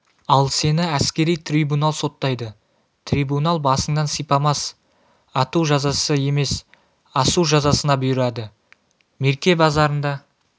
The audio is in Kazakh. ал сені әскери трибунал соттайды трибунал басыңнан сипамас ату жазасы емес асу жазасына бұйырады мерке базарында